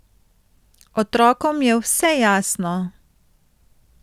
Otrokom je vse jasno.